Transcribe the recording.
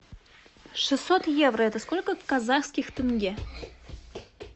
шестьсот евро это сколько казахских тенге